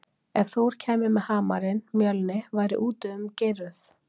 Ef Þór kæmi með hamarinn Mjölni væri úti um Geirröð.